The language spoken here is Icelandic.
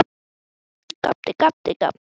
Það hefur komið mér svolítið úr jafnvægi.